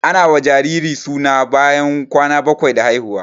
Ana sa wa jariri suna bayan kwana bakwai da haihuwa